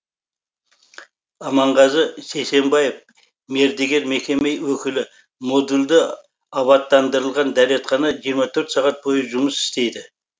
аманғазы сейсенбаев мердігер мекеме өкілі модульді абаттандырылған дәретхана жиырма төрт сағат бойы жұмыс істейді